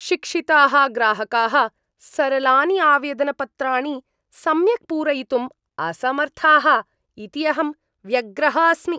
शिक्षिताः ग्राहकाः सरलानि आवेदनपत्राणि सम्यक् पूरयितुम् असमर्थाः इति अहं व्यग्रः अस्मि।